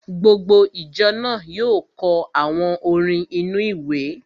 Gbogbo ìjọ náà yóò kọ àwọn orin inú-ìwé